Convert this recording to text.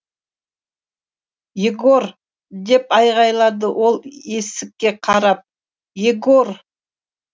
егор деп айғайлады ол есікке қарап егор